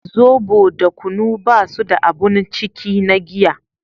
zobo da kunu ba su da abun ciki na giya